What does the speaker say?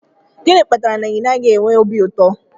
Gịnị kpatara na ị naghị enwe obi ụtọ?